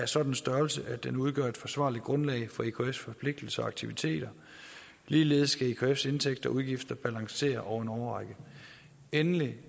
sådan størrelse at den udgør et forsvarligt grundlag for ekfs forpligtelser og aktiviteter ligeledes skal ekfs indtægter og udgifter balancere over en årrække endelig